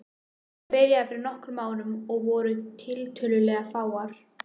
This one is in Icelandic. Þetta byrjaði fyrir nokkrum árum og við vorum tiltölulega fáar.